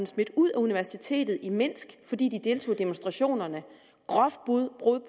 smidt ud af universitetet i minsk fordi de deltog i demonstrationerne et groft brud